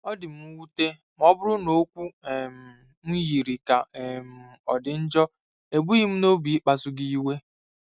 Ọ dị m nwute ma ọ bụrụ na okwu um m yiri ka um ọ dị njọ; ebughị m n'obi ịkpasu gị iwe.